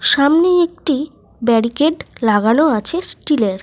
সামনেই একটি ব্যারিকেড লাগানো আছে স্টিল -এর।